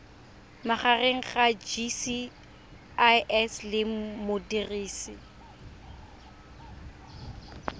magareng ga gcis le modirisi